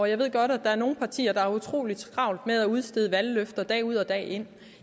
jeg ved godt at der er nogle partier der har utrolig travlt med at udstede valgløfter dag ud og dag ind